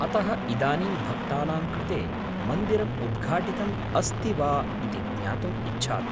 अतः, इदानीं भक्तानां कृते मन्दिरम् उद्घाटितम् अस्ति वा इति ज्ञातुम् इच्छामि।